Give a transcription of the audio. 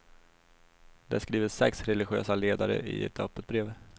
Det skriver sex religösa ledare i ett öppet brev.